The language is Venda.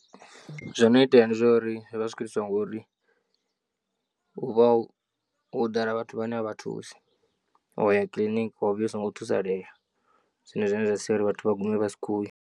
Zwono itea ndi zwauri zwivha zwikho itiswa ngori hu vha ho ḓala vhathu vhane a vha thusi wa ya kiḽiniki wa vhuya usongo thusalea zwone zwine zwa sia uri vhathu vha gume vha si khou ya.